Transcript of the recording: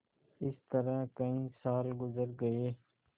इस तरह कई साल गुजर गये